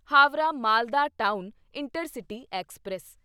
Howrah Malda town intercity express